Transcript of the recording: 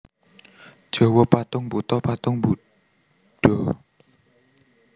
Jawa Patung Buto patung Budha